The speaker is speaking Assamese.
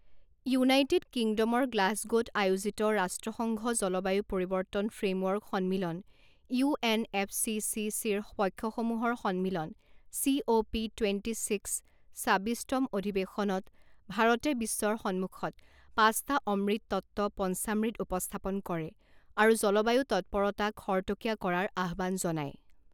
ইউনাইটেড কিংডমৰ গ্লাছগ'ত আয়োজিত ৰাষ্ট্ৰসংঘ জলবায়ু পৰিৱৰ্তন ফ্ৰেমৱৰ্ক সন্মিলন U N F C C চিৰ পক্ষসমূহৰ সন্মিলন C O P twenty six ছাব্বিছতম অধিৱেশনত ভাৰতে বিশ্বৰ সন্মুখত পাঁচটা অমৃত তত্ত্ব পঞ্চামৃত উপস্থাপন কৰে আৰু জলবায়ু তৎপৰতা খৰতকীয়া কৰাৰ আহ্বান জনায়।